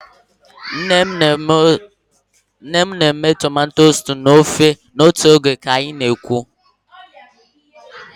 Nne m na-eme tomato stew na ofe otu oge ka anyị na-ekwu.